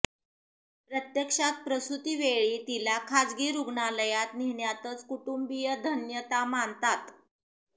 प्रत्यक्षात प्रसुतीवेळी तिला खाजगी रुग्णालयात नेण्यातच कुटुंबीय धान्यता मानतात